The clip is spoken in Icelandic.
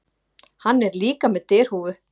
Hann er líka með derhúfu.